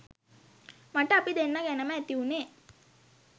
මට අපි දෙන්නා ගැනම ඇති වුණේ